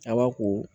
Aba ko